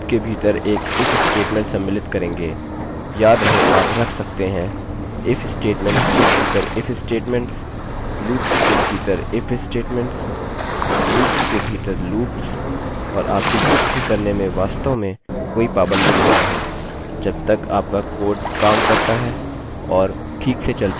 अब हम do loop के भीतर एक if स्टेटमेंटstatement सम्मिलित करेंगे याद रहे आप रख सकते हैं